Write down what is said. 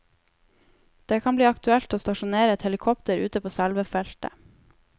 Det kan bli aktuelt å stasjonere et helikopter ute på selve feltet.